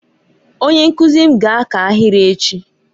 Onye nkuzi m ga-aka ahịrị echi.